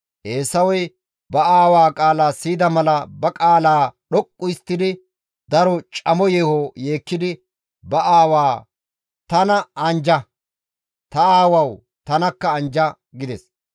Eesawey ba aawaa qaala siyida mala ba qaalaa dhoqqu histtadi daro camo yeeho yeekkidi ba aawaa, «Tana anjja; ta aawawu tanakka anjja!» gides.